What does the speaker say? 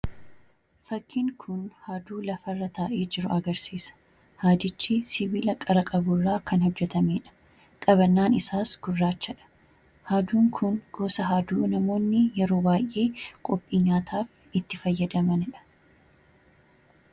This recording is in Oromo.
fakkiin kun haaduu lafa irra taa'ee jiru agarsiisa. Haadichi sibiila qara-qaburraa kan hojjatameedha. Qabannaan isaas gurraachaadha haaduun kun goosa haaduu namoonni yeroo waay'ee qophii nyaataaf itti fayyadamanidha.